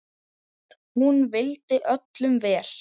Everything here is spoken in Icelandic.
Hún vildi öllum vel.